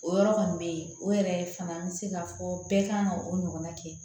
O yɔrɔ kɔni bɛ yen o yɛrɛ fana an bɛ se ka fɔ bɛɛ kan ka o ɲɔgɔnna kɛ